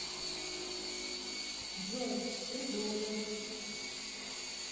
джой ты должен